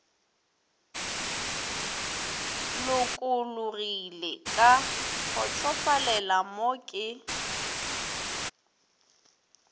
lokologilego ka kgotsofalelo mo ke